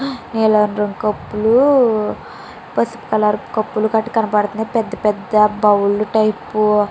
నీలం రంగు కప్పులు పసుపు కలర్ కప్పులు కట్ట కనపడుతున్నాయి పెద్ద పెద్ద బౌల్ టైప్ --